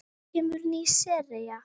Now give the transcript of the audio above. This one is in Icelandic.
Hvenær kemur ný sería?